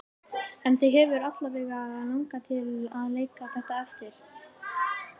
Á., Brynjólfur og Alfreð Andrésson sungu þær víðs vegar um landið.